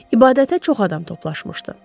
İbadətə çox adam toplaşmışdı.